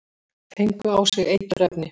Fengu á sig eiturefni